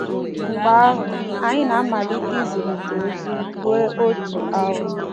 Mgbe ahụ, anyị na-amalite izirịta ozi ruo otu awa.